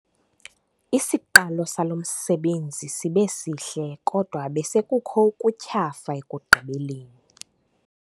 Isiqalo salo msebenzi sibe sihle kodwa besekukho ukutyhafa ekugqibeleni.